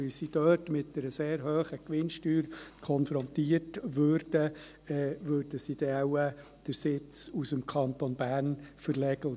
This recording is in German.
Weil sie dort mit einer sehr hohen Gewinnsteuer konfrontiert würden, würden sie wahrscheinlich den Sitz aus dem Kanton Bern verlegen.